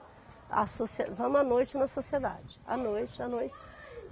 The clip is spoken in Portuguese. A socie, vamos à noite na sociedade, à noite, à noite.